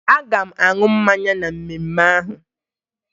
Aga m aṅụ mmanya na mmemme ahụ